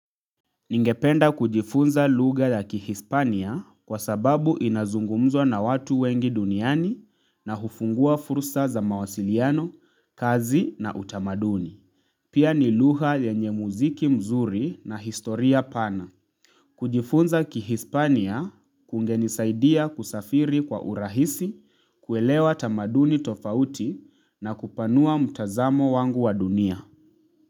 Ningependa kujifunza lugha ya kihispania kwa sababu inazungumzwa na watu wengi duniani na hufungua fursa za mawasiliano, kazi na utamaduni. Pia ni lugha yenye muziki mzuri na historia pana. Kujifunza kihispania kungenisaidia kusafiri kwa urahisi, kuelewa tamaduni tofauti na kupanua mtazamo wangu wa dunia.